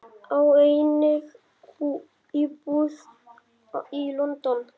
Á einnig íbúð í London.